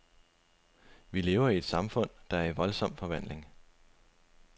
Vi lever i et samfund, der er i voldsom forvandling.